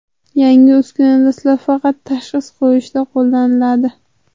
Yangi uskuna dastlab faqat tashxis qo‘yishda qo‘llaniladi.